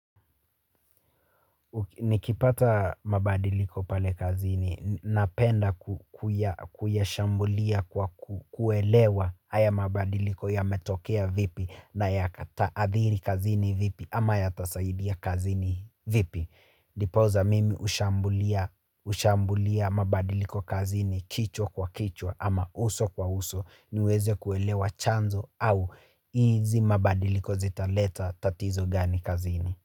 Nikipata mabadiliko pale kazini, napenda kuyashambulia kwa kuelewa haya mabadiliko yametokea vipi nayataadhiri kazini vipi ama yatasaidia kazini vipi. Ndipoza mimi ushambulia mabadiliko kazini kichwa kwa kichwa ama uso kwa uso niweze kuelewa chanzo au hizi mabadiliko zitaleta tatizo gani kazini.